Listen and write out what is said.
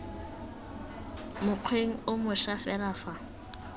mokgweng o moša fela fa